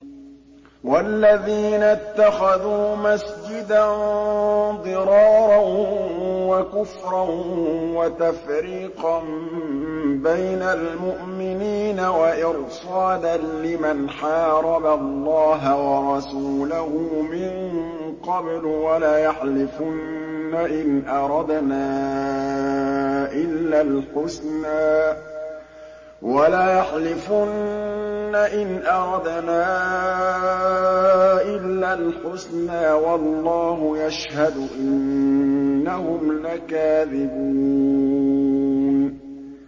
وَالَّذِينَ اتَّخَذُوا مَسْجِدًا ضِرَارًا وَكُفْرًا وَتَفْرِيقًا بَيْنَ الْمُؤْمِنِينَ وَإِرْصَادًا لِّمَنْ حَارَبَ اللَّهَ وَرَسُولَهُ مِن قَبْلُ ۚ وَلَيَحْلِفُنَّ إِنْ أَرَدْنَا إِلَّا الْحُسْنَىٰ ۖ وَاللَّهُ يَشْهَدُ إِنَّهُمْ لَكَاذِبُونَ